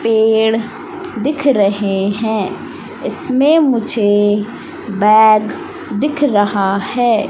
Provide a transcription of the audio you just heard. पेड़ दिख रहे हैं इसमें मुझे बैग दिख रहा है।